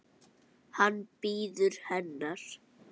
Hann bíður hennar.